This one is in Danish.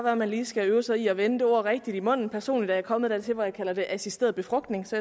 at man lige skal øve sig i at vende det ord rigtigt i munden personligt er jeg kommet dertil hvor jeg kalder det assisteret befrugtning så